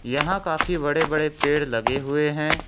यहां काफी बड़े बड़े पेड़ लगे हुए हैं।